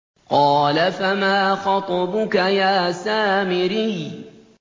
قَالَ فَمَا خَطْبُكَ يَا سَامِرِيُّ